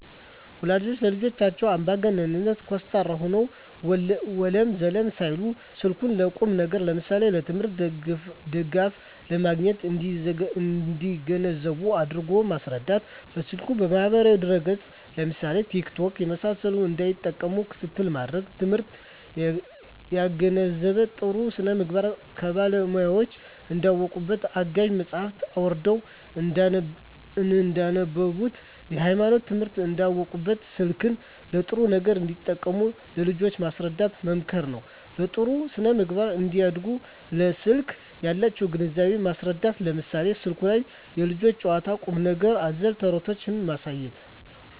ወላጆች ለልጆቻቸው አምባገነን (ኮስታራ) ሆነው ወለም ዘለም ሳይሉ ስልኩን ለቁም ነገር ለምሳሌ ለትምህርት ድጋፍ ለማግኘት እንዲገነዘቡ አድርጎ ማስረዳት። በስልኩ ማህበራዊ ድረ ገፅ ለምሳሌ ቲክቶክ የመሳሰሉትን እንዳይጠቀሙ ክትትል ማድረግ። ትምህርታቸውን ያገናዘበ , ጥሩ ስነምግባር ከባለሙያወች እንዳውቁበት , አጋዥ መፅሀፎችን አውርደው እንዳነቡብት, የሀይማኖት ትምህርቶችን እንዳውቁበት , ስልክን ለጥሩ ነገር እንዲጠቀሙ ለልጆች ማስረዳት መምከር ነው። በጥሩ ስነ-ምግባር እንዲያድጉ ለስልክ ያላቸውን ግንዛቤ ማስረዳት ለምሳሌ ስልኩ ላይ የልጆች ጨዋታ ቁም ነገር አዘል ተረቶችን ማሳየት